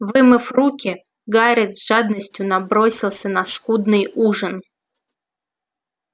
вымыв руки гарри с жадностью набросился на скудный ужин